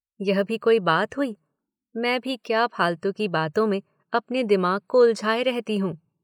यह भी कोई बात हुई? मैं भी क्या फालतू की बातों में अपने दिमाग को उलझाये रहती हूँ।